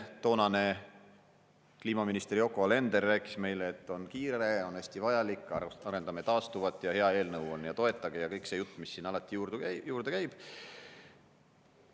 Toonane kliimaminister Yoko Alender rääkis meile, et on kiire, on hästi vajalik, arendame taastuvat ja hea eelnõu on ja toetage – kõik see jutt, mis siin alati juurde käib.